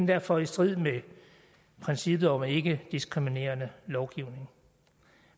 derfor i strid med princippet om ikkediskriminerende lovgivning